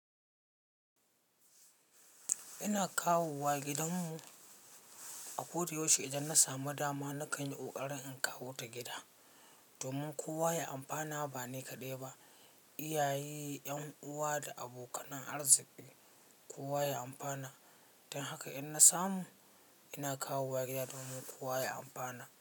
Ina kawowa gidanmu a Kote Yoshai idan na samu dama, na ƙani ƙoƙarin in kawo ta gida domin kowa ya amfana ba ni kaɗai ba. Iyaye, ƴan uwa da abokan arziki kowa ya amfana. Don haka in na samu, ina kawowa gida domin kowa ya amfana.